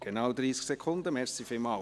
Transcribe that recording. Genau 30 Sekunden, vielen Dank.